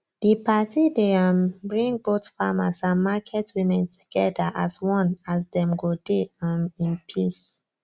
di party dey um bring both farmers and market women together as one as dem go dey um in peace